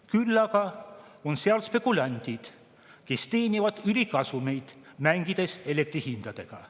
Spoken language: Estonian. Küll aga on seal spekulandid, kes teenivad ülikasumeid, mängides elektri hindadega.